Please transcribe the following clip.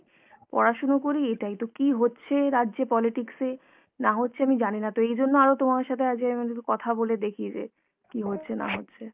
পড়াশুনো করি এটাই। তো কী হচ্ছে রাজ্যে politics এ না হচ্ছে আমি জানিনা, তো এইজন্য আরো তোমার সাথে আজকে আমি ভাবলাম একটু কথা বলে দেখি যে কী হচ্ছে না হচ্ছে।